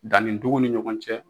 Danni ndugu ni ɲɔgɔn cɛ